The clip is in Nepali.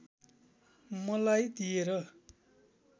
मलाई दिएर